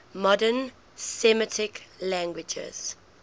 modern semitic languages